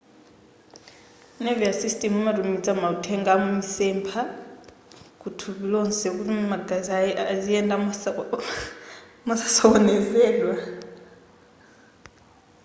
nervous system imatumiza mauthenga a misempha kuthupi lonse kuti magazi aziyendabe mosasokonezedwa